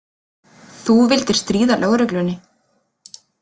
Þú vildir stríða lögreglunni.